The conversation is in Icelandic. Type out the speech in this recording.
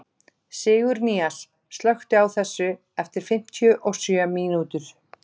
Sigurnýas, slökktu á þessu eftir fimmtíu og sjö mínútur.